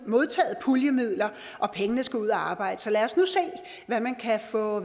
modtaget puljemidler og pengene skal ud at arbejde så lad os nu se hvad man kan få